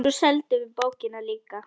Svo seldum við bókina líka.